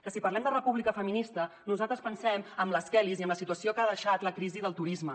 que si parlem de república feminista nosaltres pensem en les kellys i en la situació que ha deixat la crisi del turisme